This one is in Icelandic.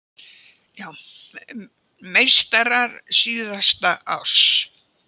Meistarar síðasta árs